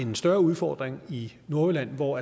en større udfordring i nordjylland hvor